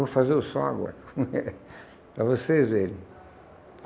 Vou fazer o som agora para vocês verem.